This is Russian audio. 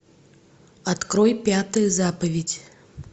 открой пятую заповедь